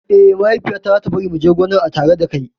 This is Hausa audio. Eh, Mahaifiya ta za ta bari mu je gonar a tare dakai